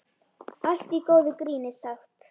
Allt í góðu gríni sagt.